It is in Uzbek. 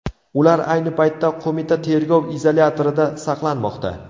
Ular ayni paytda qo‘mita tergov izolyatorida saqlanmoqda.